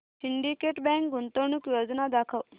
Syndicate Bank गुंतवणूक योजना दाखव